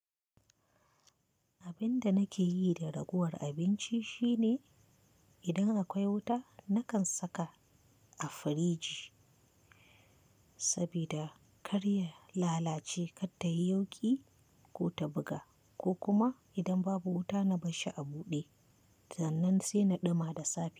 Abin da nakeyi da ragowar abinci shine, idan akwai wuta nakan saka a firji sabida kar ya lalace kar tayi yauƙi ko ta buga ko kuma idan babu wuta na barshi a buɗe sannan sai na ɗumama da safe.